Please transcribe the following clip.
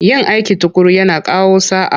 Yin aiki tuƙuru yana kawo sa'a.